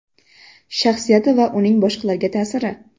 Shaxsiyati va uning boshqalarga ta’siri.